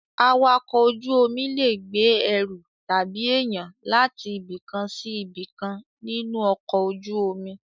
Awakọ̀ ojú omi lè gbé ẹru tàbí èyàn láti ibìkan sí ibìkan nínú ọkọ̀ ojú omi.